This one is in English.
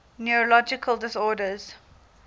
neurological disorders